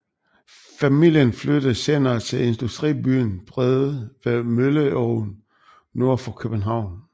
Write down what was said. Familien flyttede senere til industribyen Brede ved Mølleåen nord for København